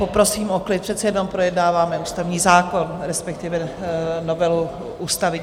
Poprosím o klid, přece jenom projednáváme ústavní zákon, respektive novelu ústavy.